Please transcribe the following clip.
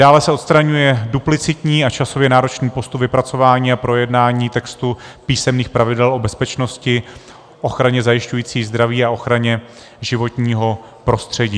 Dále se odstraňuje duplicitní a časově náročný postup vypracování a projednání textu písemných pravidel o bezpečnosti, ochraně zajišťující zdraví a ochraně životního prostředí.